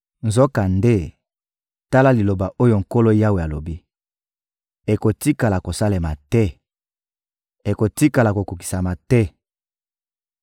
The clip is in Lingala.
Nzokande, tala liloba oyo Nkolo Yawe alobi: Ekotikala kosalema te, ekotikala kokokisama te!